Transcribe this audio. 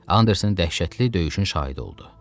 Anderson dəhşətli döyüşün şahidi oldu.